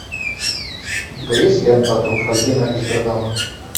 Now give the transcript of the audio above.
у тебя есть лента труффальдино из бергамо